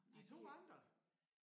De 2 andre